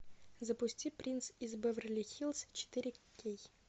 запусти принц из беверли хиллз четыре кей